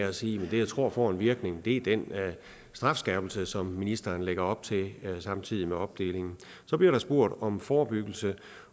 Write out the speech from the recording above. og sige at det jeg tror på har en virkning er den strafskærpelse som ministeren lægger op til samtidig med opdelingen så bliver der spurgt om forebyggelse